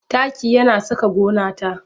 Taki yana saka gona ta